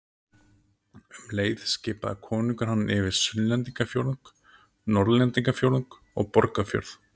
Um leið skipaði konungur hann yfir Sunnlendingafjórðung, Norðlendingafjórðung og Borgarfjörð.